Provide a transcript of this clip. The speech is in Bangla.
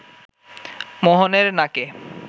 মোহনের নাকে